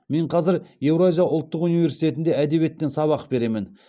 мен қазір еуразия ұлттық университетінде әдебиеттен сабақ беремін